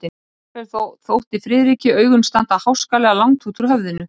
Jafnvel þá þóttu Friðriki augun standa háskalega langt út úr höfðinu.